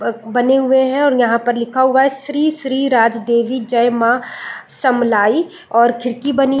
बने हुए है और यहाँ पर लिखा हुआ है श्री श्री राज देवी जय माँ समलाई और खिड़की बनी --